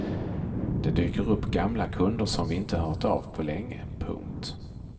Det dyker upp gamla kunder som vi inte hört av på länge. punkt